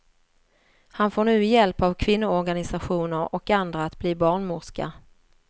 Han får nu hjälp av kvinnoorganisationer och andra att bli barnmorska.